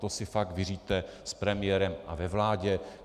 To si fakt vyřiďte s premiérem a ve vládě.